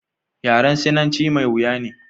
yaren sinanci mai wuya ne